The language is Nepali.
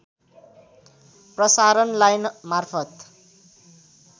प्रसारण लाइनमार्फत